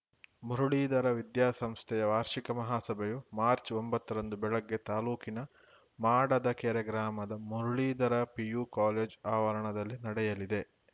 ಮುರುಳೀಧರ ವಿದ್ಯಾ ಸಂಸ್ಥೆಯ ವಾರ್ಷಿಕ ಮಹಾಸಭೆಯು ಮಾರ್ಚ್ ಒಂಬತ್ತರಂದು ಬೆಳಗ್ಗೆ ತಾಲೂಕಿನ ಮಾಡದಕೆರೆ ಗ್ರಾಮದ ಮುರುಳೀಧರ ಪಿಯು ಕಾಲೇಜ್ ಆವರಣದಲ್ಲಿ ನಡೆಯಲಿದೆ